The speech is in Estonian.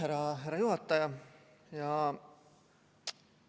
Aitäh, härra juhataja!